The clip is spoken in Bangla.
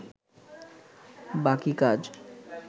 বাকি কাজ